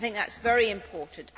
I think that is very important.